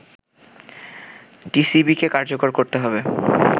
টিসিবিকে কার্যকর করতে হবে”